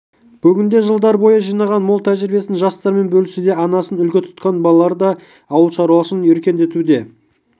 бүгінде жылдар бойы жинаған мол тәжірибесін жастармен бөлісуде анасын үлгі тұтқан балалары да ауыл шаруашылығын өркендетуді